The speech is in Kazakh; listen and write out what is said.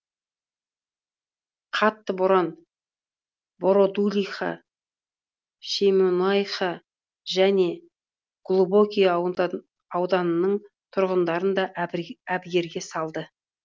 қатты боран бородулиха шемонайха және глубокое ауданының тұрғындарын да әбігерге салды